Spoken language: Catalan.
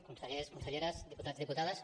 consellers conselleres diputats diputades